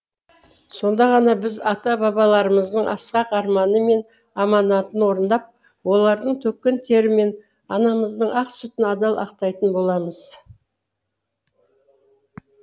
сонда ғана біз ата бабаларымыздың асқақ арманы мен аманатын орындап олардың төккен тері мен анамыздың ақ сүтін адал ақтайтын боламыз